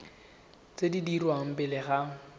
tse di dirwang pele ga